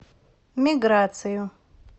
миграцию